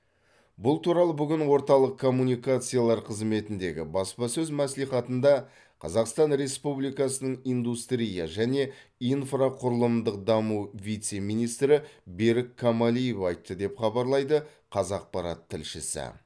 бұл туралы бүгін орталық коммуникациялар қызметіндегі баспасөз мәслихатында қазақстан республикасының индустрия және инфрақұрылымдық даму вице министрі берік камалиев айтты деп хабарлайды қазақпарат тілшісі